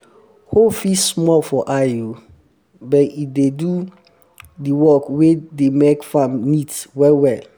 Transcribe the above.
hoe fit small for eye o! but e dey do d work wey dey make farm neat well well.